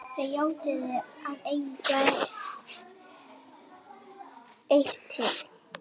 Þau játuðu að eiga eitrið.